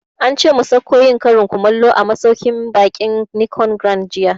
Ance mu sauko yin karin kumallo a masauƙin baƙin Nicon Grand jiya